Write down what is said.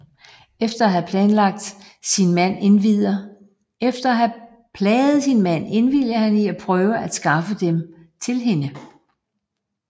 Efter at havde plaget sin mand indvilliger han i at prøve at skaffe dem til hende